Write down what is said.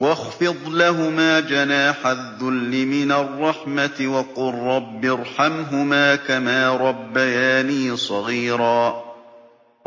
وَاخْفِضْ لَهُمَا جَنَاحَ الذُّلِّ مِنَ الرَّحْمَةِ وَقُل رَّبِّ ارْحَمْهُمَا كَمَا رَبَّيَانِي صَغِيرًا